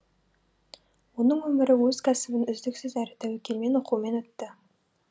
оның өмірі өз кәсібін үздіксіз әрі тәуекелмен оқумен өтті